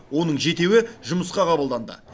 оның жетеуі жұмысқа қабылданды